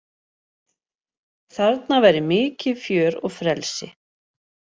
Þarna væri mikið fjör og frelsi